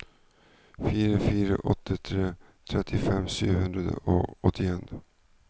fire fire åtte tre trettifem sju hundre og åttien